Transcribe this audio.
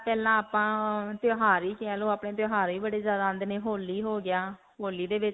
ਪਹਿਲਾਂ ਆਪਾਂ ਅਅ ਤਿਉਹਾਰ ਹੀ ਕਹਿ ਲੋ ਆਪਣੇ. ਤਿਉਹਾਰ ਹੀ ਬੜੇ ਜਿਆਦਾ ਆਉਂਦੇ ਨੇ. ਹੋਲੀ ਹੋ ਗਿਆ. ਹੋਲੀ ਦੇ